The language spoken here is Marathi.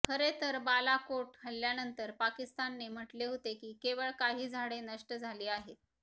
खरेतर बालाकोट हल्ल्यानंतर पाकिस्तानने म्हटले होते की केवळ काही झाडे नष्ट झाली आहेत